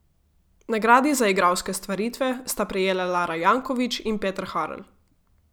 Nagradi za igralske stvaritve sta prejela Lara Jankovič in Peter Harl.